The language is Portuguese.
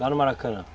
Lá no Maracanã?